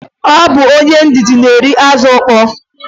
Ọ bụ onye ndidi na-eri azụ ukpoo.